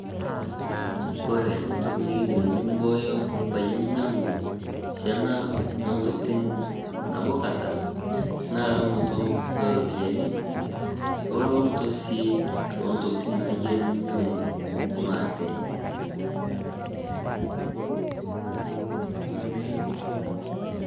Ore ntoki nikiidim nibooyo, peyie minyiangu siana ontokitin nabo kata naa elaunoto oo ropiyiani olaunoto sii intokitin niyieu ninyiangu maate.